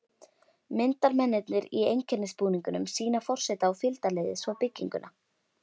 Myndarmennirnir í einkennisbúningunum sýna forseta og fylgdarliði svo bygginguna.